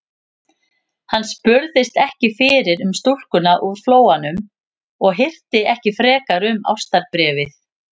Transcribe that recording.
Hann spurðist ekki fyrir um stúlkuna úr Flóanum og hirti ekki frekar um ástarbréfið.